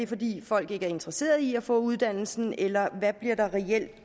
fordi folk ikke er interesseret i at få uddannelsen eller hvad bliver der reelt